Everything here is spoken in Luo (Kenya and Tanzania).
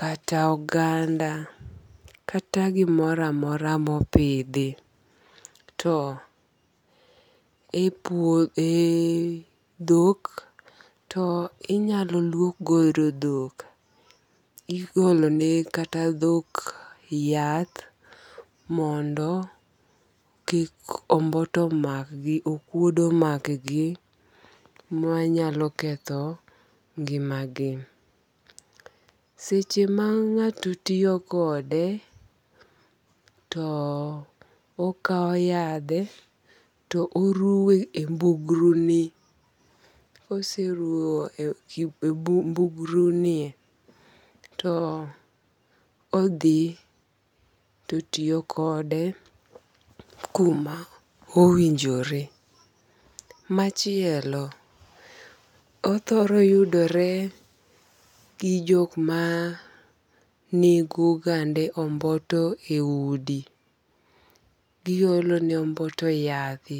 kata oganda kata gimoro amora mopidhi. To e puo ,e dhok to inyalo luok godo dhok. Igolone kata dhok yath mondo kik omboto omakgi, okuodo omakgi manyalo ketho ngimagi. Seche ma ng'ato tiyo kode to okao yadhe to oruwe e mbugruni, koseruo e e mbugruni e, to odhi to otiyo kode kuma owinjore. Machielo othoro yudore gi jokma nego gande omboto e udi. Giolone omboto yadhe.